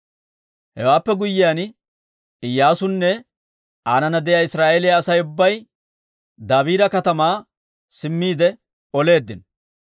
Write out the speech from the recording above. Hewaappe guyyiyaan Iyyaasunne aanana de'iyaa Israa'eeliyaa Asay ubbay Dabiira katamaa simmiide oleeddino.